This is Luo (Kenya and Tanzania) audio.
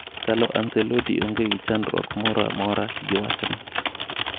Carlo Ancelotti onge gi chandruok moro amora gi wachno.